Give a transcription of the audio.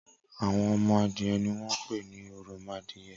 Awọn ọmọ adiẹ niwọn pé ni òròmọadiẹ